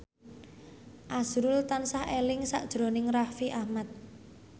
azrul tansah eling sakjroning Raffi Ahmad